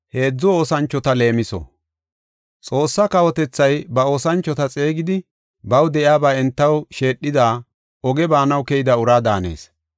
“Xoossaa kawotethay ba oosanchota xeegidi baw de7iyaba entaw sheedhidi oge baanaw keyida uraa daanees.